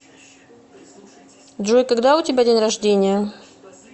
джой когда у тебя день рождения